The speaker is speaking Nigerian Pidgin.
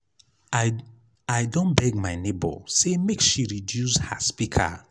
i i don beg my nebor sey make she reduce her speaker.